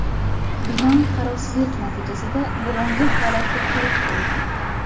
Bino qarovsizlik natijasida bugungi holatga kelib qolgan.